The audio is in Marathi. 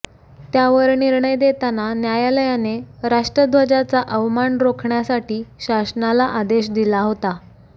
त्यावर निर्णय देतांना न्यायालयाने राष्ट्रध्वजाचा अवमान रोखण्यासाठी शासनाला आदेश दिला होता